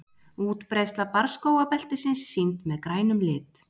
Útbreiðsla barrskógabeltisins sýnd með grænum lit.